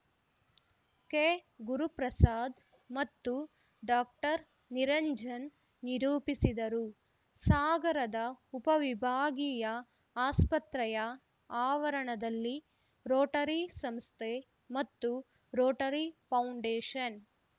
ಕೆಗುರುಪ್ರಸಾದ್‌ ಮತ್ತು ಡಾಕ್ಟರ್ ನಿರಂಜನ್‌ ನಿರೂಪಿಸಿದರು ಸಾಗರದ ಉಪವಿಭಾಗೀಯ ಆಸ್ಪತ್ರೆಯ ಆವರಣದಲ್ಲಿ ರೋಟರಿ ಸಂಸ್ಥೆ ಮತ್ತು ರೋಟರಿ ಫೌಂಡೇಶನ್‌